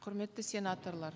құрметті сенаторлар